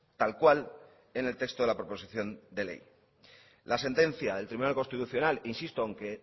tal cual en el texto de la proposición de ley la sentencia del tribunal constitucional insisto aunque